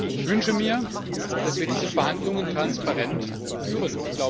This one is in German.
Ich wünsche mir, dass wir diese Verhandlungen transparent führen.